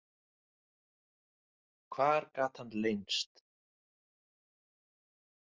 Hvar gat hann leynst?